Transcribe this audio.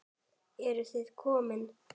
Eruð þið komin!